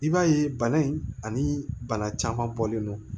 I b'a ye bana in ani bana caman bɔlen don